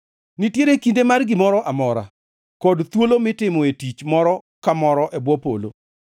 Nitiere kinde mar gimoro amora, kod thuolo mitimoe tich moro ka moro e bwo polo: